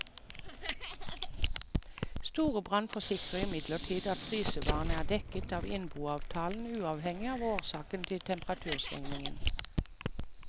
Storebrand forsikrer imidlertid at frysevarene er dekket av innboavtalen, uavhengig av årsaken til temperaturstigningen.